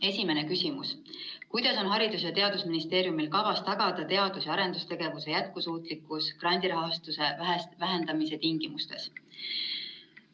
Esimene küsimus: "Kuidas on Haridus‑ ja teadusministeeriumil kavas tagada teadus‑ ja arendustegevuse jätkusuutlikkus grandirahastuse vähenemise tingimustes?